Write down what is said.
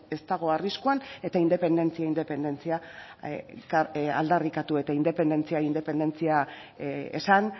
ez dago arriskuan eta independentzia independentzia aldarrikatu eta independentzia independentzia esan